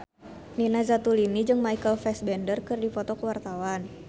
Nina Zatulini jeung Michael Fassbender keur dipoto ku wartawan